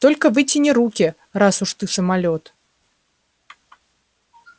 только вытяни руки раз уж ты самолёт